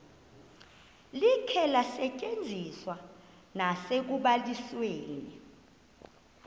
likhe lisetyenziswe nasekubalisweni